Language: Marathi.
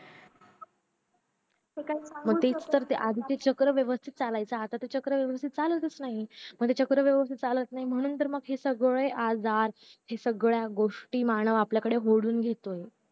तेच तर आधीच चक्र व्यवस्तीत चालायचं आता ते चक्र व्यवस्तीत चालतच नाही मग ते चक्र व्यवस्तीत चालत नाही म्हणून तर मग सगळे हे आजार हे सगळ्या गोष्टी मानव आपल्याकडे ओढून घेतोय